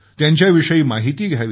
त्यांच्याविषयी माहिती घ्यावी